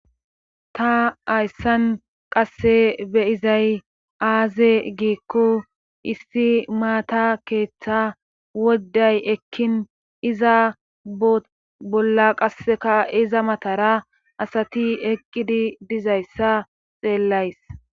ta hayssan qasse beyizay aaze giikko issi maata keeththa woday ekkin iza bolla qasseka iza matara asati eqqidi dizayssa xeellays